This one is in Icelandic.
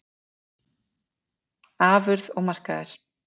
Afurð og markaðir